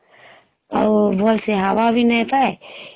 ଆଉ ଭଲସେ ହାୱା ବି ନେଇ ପାଏ